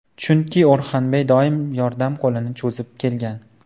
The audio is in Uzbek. Chunki O‘rxanbey doim yordam qo‘lini cho‘zib kelgan.